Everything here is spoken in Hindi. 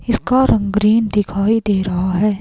इसका रंग ग्रीन दिखाई दे रहा है।